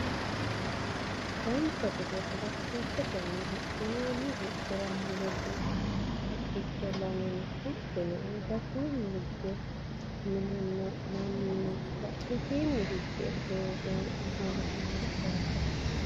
dancha gede bolokeettetenni huxxinoonni huxxira mulesi haqqicho lame no hattono albasiinni hige minnanna mannu no badhesiini higge doogono afantanno yaate